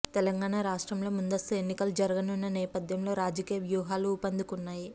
తెలంగాణ రాష్ట్రంలో ముందస్తు ఎన్నికలు జరగనున్న నేపథ్యంలో రాజకీయ వ్యూహాలు ఊపందుకున్నాయి